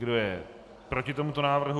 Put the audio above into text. Kdo je proti tomuto návrhu?